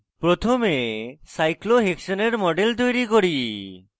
প্রথমে cyclohexane cyclohexane এর model তৈরি করি